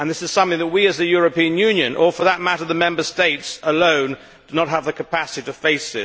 This is something which we as the European Union, or for that matter the Member States alone, do not have the capacity to face